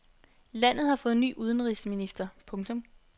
Landet har fået ny udenrigsminister. punktum